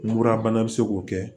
Murabana bɛ se k'o kɛ